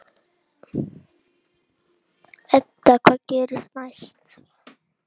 Edda: Hvað gerist næst?